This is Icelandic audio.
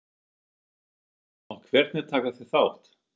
Ásgeir: Og hvernig taka þeir þátt?